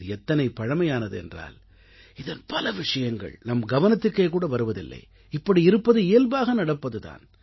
இது எத்தனை பழமையானது என்றால் இதன் பல விஷயங்கள் நம் கவனத்துக்கே கூட வருவதில்லை இப்படி இருப்பது இயல்பாக நடப்பது தான்